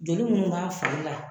Joli munnu b'a fari la